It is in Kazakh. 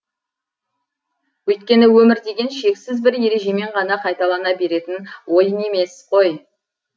өйткені өмір деген шексіз бір ережемен ғана қайталана беретін ойын емес қой